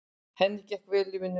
Henni gekk vel í vinnunni.